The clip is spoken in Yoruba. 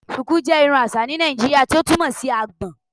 Shuku jẹ irun aṣa ni Naijiria ti o túmọ si agbòn